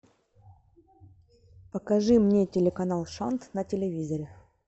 покажи мне телеканал шант на телевизоре